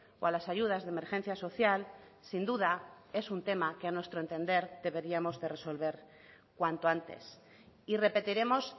o a las ayudas de emergencia social sin duda es un tema que a nuestro entender deberíamos de resolver cuanto antes y repetiremos